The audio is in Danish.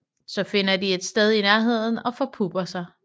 Så finder de et sted i nærheden og forpupper sig